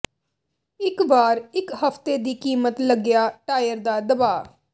ਇੱਕ ਵਾਰ ਇੱਕ ਹਫ਼ਤੇ ਦੀ ਕੀਮਤ ਲੱਗਿਆ ਟਾਇਰ ਦਾ ਦਬਾਅ